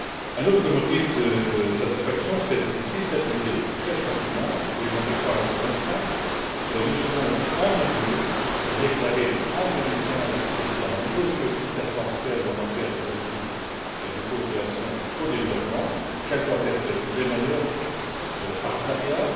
Un autre motif de satisfaction, c'est que, si cette idée fait son chemin et je n'en doute pas un seul instant nous serons en mesure de déclarer, en 2015, ce qui à nos yeux est essentiel en matière de politique de coopération au développement, quels doivent être les meilleurs partenariats.